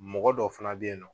Mɔgɔ dɔ fana bɛ yen nɔ